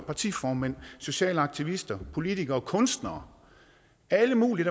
partiformænd sociale aktivister politikere kunstnere og alle mulige